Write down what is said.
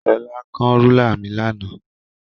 Shola kán rúlà mi lánàá.